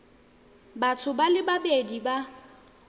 batho ba le babedi ba